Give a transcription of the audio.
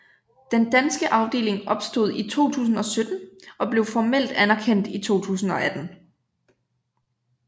Den danske afdeling opstod i 2017 og blev formelt anerkendt i 2018